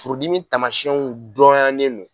Furudimi taamasiyɛnw dɔnyalen don